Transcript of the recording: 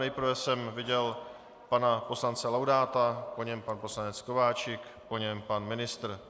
Nejprve jsem viděl pana poslance Laudáta, po něm pan poslanec Kováčik, po něm pan ministr.